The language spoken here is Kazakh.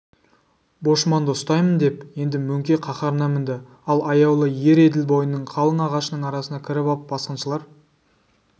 бошманды ұстаймын деп енді мөңке қаһарына мінді ал аяулы ер еділ бойының қалың ағашының арасына кіріп ап басқыншылар